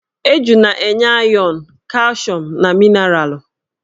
Eju na-enye ayọn, kalshium na minaralụ.